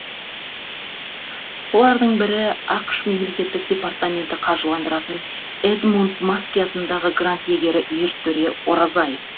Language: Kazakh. солардың бірі ақш мемлекеттік департаменті қаржыландыратын эдмунд маски атындағы грант иегері ертөре оразай